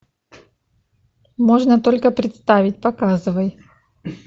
можно только представить показывай